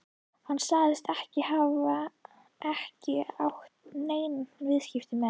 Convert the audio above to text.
Hann sagðist ekki hafa ekki átt nein viðskipti með